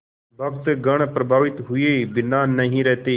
भक्तगण प्रभावित हुए बिना नहीं रहते